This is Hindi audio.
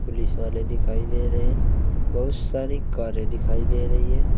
पुलिस वाले दिखाई दे रहे हैं बहुत सारी कारें दिखाई दे रही है।